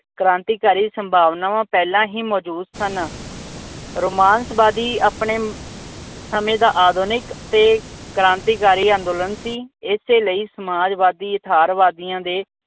ਕ੍ਰਾਂਤੀਕਾਰੀ ਸੰਭਾਵਨਾਵਾਂ ਪਹਿਲਾ ਹੀ ਮੌਜੂਦ ਸਨ। ਰੋਮਾਂਸਵਾਦੀ ਆਪਣੇ ਸਮੇਂ ਦਾ ਆਧੁਨਿਕ ਕ੍ਰਾਂਤੀਕਾਰੀ ਤੇ ਅੰਦੋਲਨ ਸੀ। ਏਸੇ ਲਈ ਸਮਾਜਵਾਦੀ, ਯਥਾਰਵਾਦੀਆ